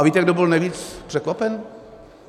A víte, kdo byl nejvíc překvapen?